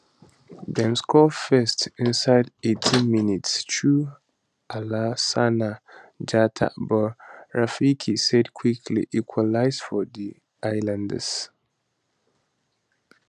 dem score first inside 18 minute through alassana jatta but rafiki said quickly equalise for di islanders